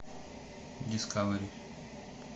дискавери